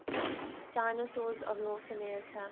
dinosaurs of north america